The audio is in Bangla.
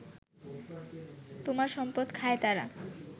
তোমার সম্পদ খায় তারা